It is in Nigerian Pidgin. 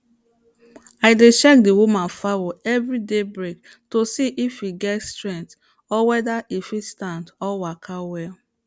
i dey check the woman fowl every day break to see if en get strength or whether en fit stand or waka well